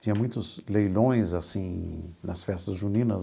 Tinha muitos leilões assim nas festas juninas.